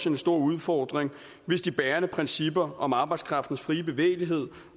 en stor udfordring hvis de bærende principper om arbejdskraftens frie bevægelighed